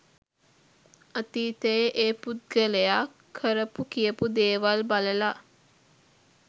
අතීතයේ ඒ පුද්ගලයා කරපු කියපු දේවල් බලලා